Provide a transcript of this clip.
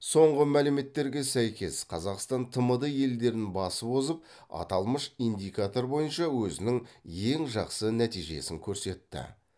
соңғы мәліметтерге сәйкес қазақстан тмд елдерін басып озып аталмыш индикатор бойынша өзінің ең жақсы нәтижесін көрсетті